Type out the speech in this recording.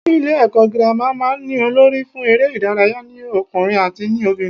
Ilé èkó girama máa n ní Olórí fún eré ìdárayá ní okùnrin àti ní obìnrin